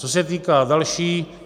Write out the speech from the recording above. Co se týká dalšího.